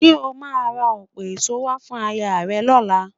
Ṣé o máa ra ọ̀pọ̀ èso wá fún ayaà rẹ lọ́la?